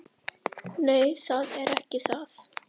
Nei, það er ekki það.